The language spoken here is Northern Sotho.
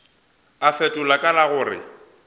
a fetola ka la gore